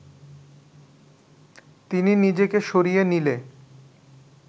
তিনি নিজেকে সরিয়ে নিলে